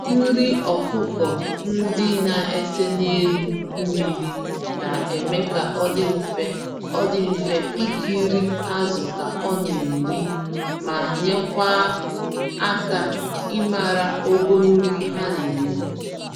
Nri ọkụkọ ndị na-ese n'elu mmiri na-eme ka ọ dị mfe ọ dị mfe ikiri azụ ka ọ na-eri, ma nyekwa aka ịmara ogo nri ha n'eri